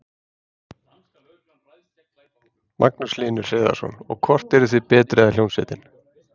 Magnús Hlynur Hreiðarsson: Og, hvort eruð þið betri eða hljómsveitin?